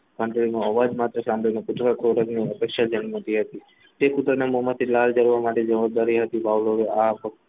ઘટડીનો અવાજ માત્ર સાંભળીને કૂતરાને ખોરાકની અપેક્ષા ધ્યાનમાંથી હતી. તે કૂતરાના મોમાંથી લાળ જરવા માટે જવબ્દાર હતી ભવ્લોને આ